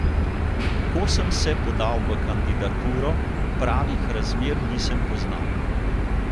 Ko sem se podal v kandidaturo, pravih razmer nisem poznal.